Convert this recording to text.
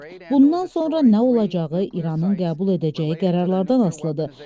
Bundan sonra nə olacağı İranın qəbul edəcəyi qərarlardan asılıdır.